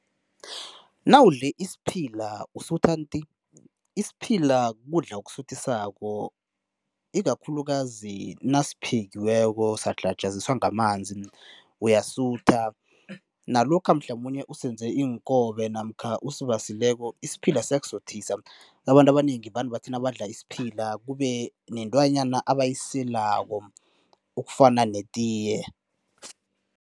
Nawudle isiphila usutha nti. Isiphila kudla okusuthisako ikakhulukazi nasiphekiweko sadlhajaziswa ngamanzi uyasutha. Nalokha mhlamunye usenze iinkobe namkha usibasileko, isiphila siyakusuthisa. Abantu abanengi vane bathi nabadla isiphila kube nentwanyana abayiselako okufana netiye.